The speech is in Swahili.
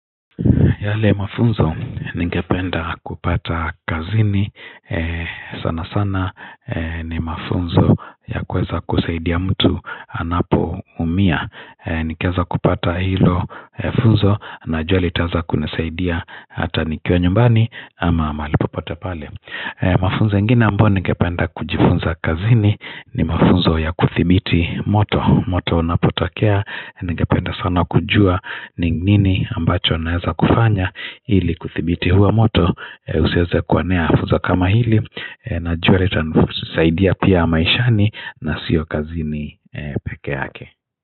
Yale mafunzo ningependa kupata kazini sana sana ni mafunzo ya kuweza kusaidia mtu anapoumia ningeweza kupata hilo funzo najua litaanza kunisaidia hata nikiwa nyumbani ama mahali popote pale mafunzo ingine ambayo ningependa kujifunza kazini ni mafunzo ya kudhibiti moto moto unapotokea ningependa sana kujua ni nini ambacho naeza kufanya ili kudhibiti huo moto usiweze kuonea funzo kama hili Najua litanisaidia pia maishani na siyo kazini peke yake.